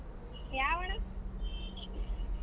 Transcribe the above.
ಯಾವ ಅಣಾ .